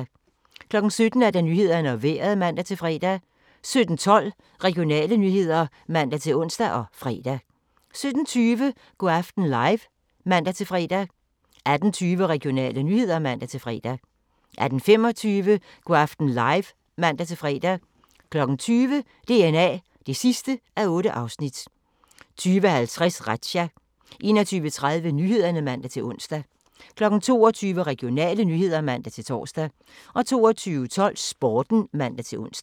17:00: Nyhederne og Vejret (man-fre) 17:12: Regionale nyheder (man-ons og fre) 17:20: Go' aften live (man-fre) 18:20: Regionale nyheder (man-fre) 18:25: Go' aften live (man-fre) 20:00: DNA (8:8) 20:50: Razzia 21:30: Nyhederne (man-ons) 22:00: Regionale nyheder (man-tor) 22:12: Sporten (man-ons)